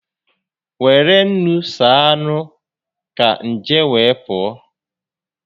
Were ńnú saa anụ ka nje wee pụọ